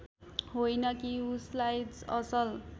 होइन कि उसलाई असल